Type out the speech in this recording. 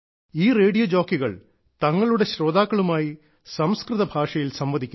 ഈ റേഡിയോ ജോക്കികൾ തങ്ങളുടെ ശ്രോതാക്കളുമായി സംസ്കൃതഭാഷയിൽ സംവദിക്കുന്നു